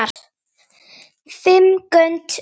Fimm grönd unnin!